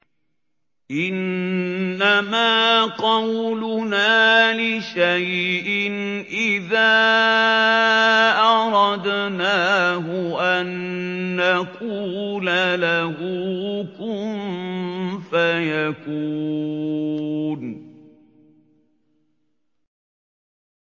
إِنَّمَا قَوْلُنَا لِشَيْءٍ إِذَا أَرَدْنَاهُ أَن نَّقُولَ لَهُ كُن فَيَكُونُ